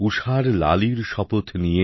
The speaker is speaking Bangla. ঊষার লালীর শপথ নিয়ে